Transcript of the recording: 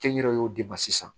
Kɛnyɛrɛyew de ma sisan